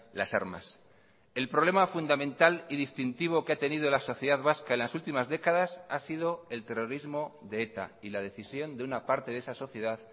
las armas el problema fundamental y distintivo que ha tenido la sociedad vasca en las últimas décadas ha sido el terrorismo de eta y la decisión de una parte de esa sociedad